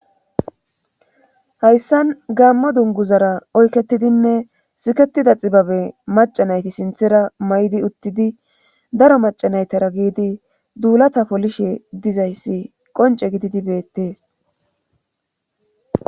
hayssan gaammo dunguzara oyketidinne siketida xibabe macanayti sinthera may7di uttidi daro macanaytara giidi duulata polishe dizayssi qonce gididi beettees